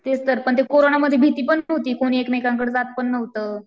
तेच तर पण ते कोरोनामध्ये भीती पण होती कोण एकमेकांकडं जात पण नव्हतं.